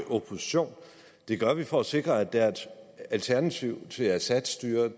opposition det gør vi for at sikre at der er et alternativ til assadstyret